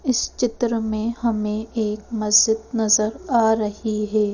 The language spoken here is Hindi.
इस चित्र में हमें एक मस्जिद नजर आ रही है।